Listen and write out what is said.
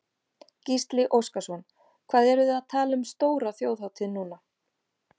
Gísli Óskarsson: Hvað eruð þið að tala um stóra þjóðhátíð núna?